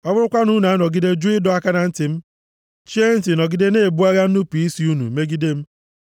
“ ‘Ọ bụrụkwa na unu anọgide jụ ịdọ aka na ntị m, chie ntị nọgide na-ebu agha nnupu isi unu megide m,